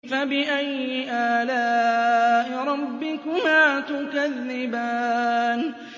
فَبِأَيِّ آلَاءِ رَبِّكُمَا تُكَذِّبَانِ